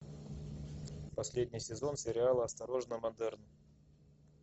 последний сезон сериала осторожно модерн